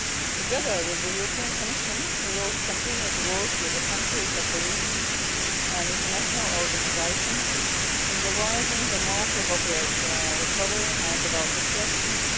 Together with the European Commission, we will continue to work with the countries of the region and international organisations in devising the most appropriate recovery and development strategies.